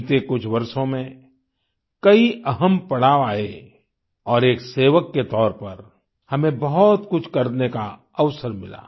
बीते कुछ वर्षों में कई अहम पड़ाव आये और एक सेवक के तौर पर हमें बहुत कुछ करने का अवसर मिला